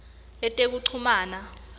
letekuchumana